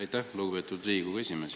Aitäh, lugupeetud Riigikogu esimees!